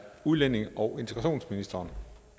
udlændinge og integrationsministeren